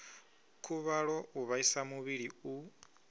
khuvhalo u vhaisa muvhili u